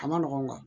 A ma nɔgɔn